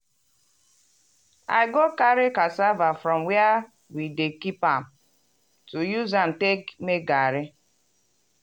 i go carry cassava from where we dey keep am to use am take make garri.